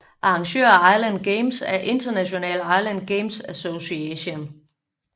Arrangør af Island Games er International Island Games Association